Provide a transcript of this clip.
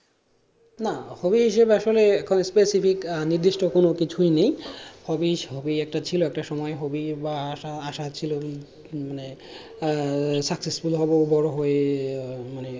না hobby হিসাবে আসলে এখন specific নির্দিষ্ট কোনো কিছুই নেই hobby hobby একটা সময় ছিল hobby বা আশা আশা ছিল উম মানে আহ successful হবো বড় হয়ে মানে